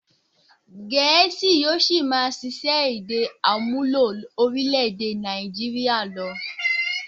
Gẹ̀ésì yóò ṣì máa ṣiṣẹ́ èdè àmúlò orílè-èdè Nàìjíríà lọ.